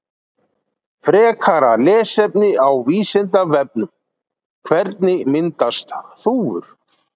Frekara lesefni á Vísindavefnum: Hvernig myndast þúfur?